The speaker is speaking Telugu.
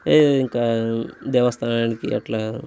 హే ఇంకా దేవస్థానానికి అట్లా--